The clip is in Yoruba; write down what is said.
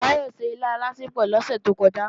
Báyọ̀ se ilá alásèpò lọ́sẹ̀ tó kọjá